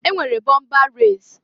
E nwere bọmba resi.